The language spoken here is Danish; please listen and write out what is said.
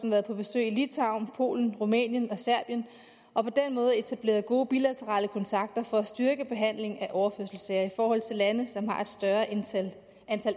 været på besøg i litauen polen rumænien og serbien og på den måde etableret gode bilaterale kontakter for at styrke behandlingen af overførselssager til lande som har et større antal